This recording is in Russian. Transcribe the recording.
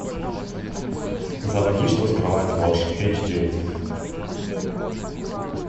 заводи что скрывает ложь эйч ди